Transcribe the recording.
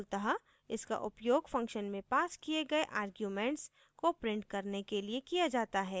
मूलतः इसका उपयोग function में passed किये गये arguments को print करने के लिए किया जाता है